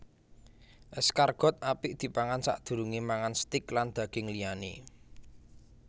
Escargot apik dipangan sadurungé mangan steak lan daging liyané